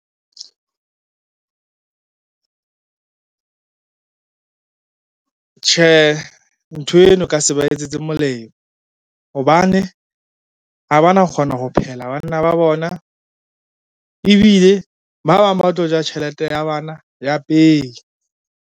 Tjhe, nthweno ka se ba etsetse molemo, hobane ha ba na kgona ho phehela banna ba bona ebile ba bang ba tlo ja tjhelete ya bana ya pei.